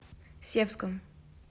севском